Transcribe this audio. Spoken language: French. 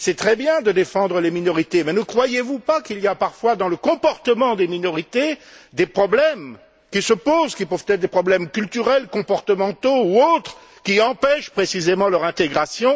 C'est très bien de défendre les minorités, mais ne croyez vous pas qu'il y a parfois dans le comportement des minorités des problèmes qui se posent, qui peuvent être des problèmes culturels, comportementaux ou autres, qui empêchent précisément leur intégration.